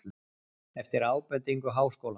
Eftir ábendingu Háskóla